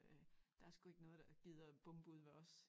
Øh der sgu ikke noget der gider bombe ude ved os